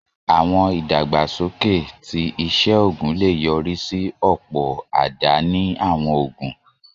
Àwọn ìdàgbàsókè ti iṣẹ́ oògùn lè yọrí sí ọ̀pọ̀ àdáni àwọn òògùn